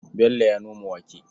Bello ya noma wake.